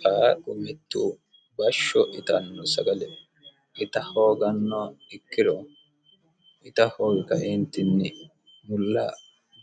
qaaqu mettu bashsho itanno sagale ita hooganno ikkiro ita hoogi kaiintinni mulla